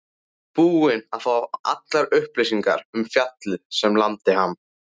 Búinn að fá allar upplýsingar um fjallið sem lamdi hann.